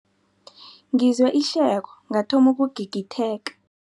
Ngizwe ihleko ngathoma ukugigitheka.